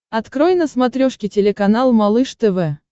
открой на смотрешке телеканал малыш тв